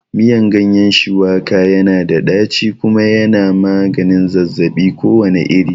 Miyan ganyen shuwaka yana da ɗaci kuma yana magani zazzabi kowane iri